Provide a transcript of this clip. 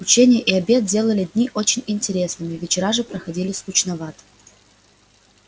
ученье и обед делали дни очень интересными вечера же проходили скучновато